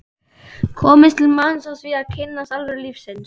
komist til manns á því að kynnast alvöru lífsins.